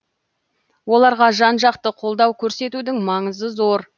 оларға жан жақты қолдау көрсетудің маңызы зор